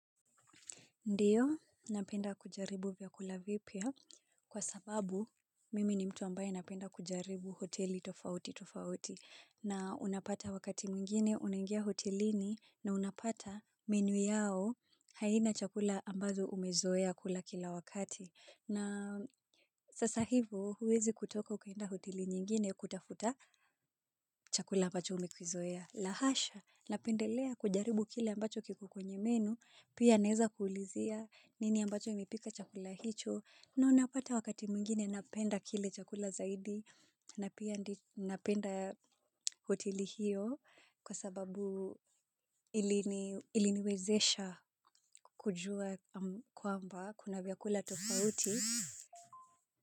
Ndiyo, napenda kujaribu vyakula vipya kwa sababu mimi ni mtu ambaye napenda kujaribu hoteli tofauti tofauti na unapata wakati mwingine unaingia hotelini na unapata menu yao haina chakula ambazo umezoea kula kila wakati. Na sasa hivo huwezi kutoka ukaenda hoteli nyingine kutafuta chakula ambacho umekizoea. La hasha, napendelea kujaribu kile ambacho kiko kwenye menu, pia naeza kuulizia nini ambacho imepika chakula hicho. Na unapata wakati mwingine napenda kile chakula zaidi na pia napenda hoteli hiyo kwa sababu iliniwezesha kujua kwamba kuna vyakula tofauti.